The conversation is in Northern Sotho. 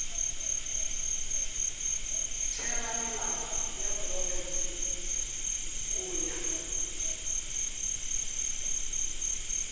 theramelao ya profense go ya